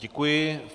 Děkuji.